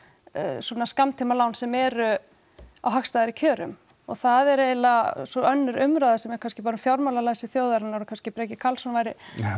svona skammtímalán sem eru á hagstæðari kjörum og það er eiginlega svo önnur umræða sem er kannski bara um fjármálalæsi þjóðarinnar og kannski Breki Karlsson væri